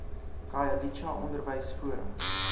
khayelitsha onderwys forum